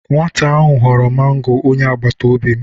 Nwata ahụ ghọrọ mango onye agbataobi m..